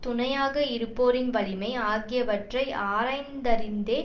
துணையாக இருப்போரின் வலிமை ஆகியவற்றை ஆராய்ந்தறிந்தே